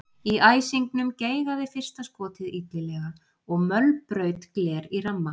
Í æsingnum geigaði fyrsta skotið illilega og mölbraut gler í ramma.